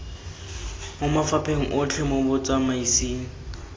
mo mafapheng otlhe mo botsamaisng